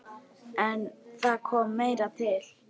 En það kom meira til.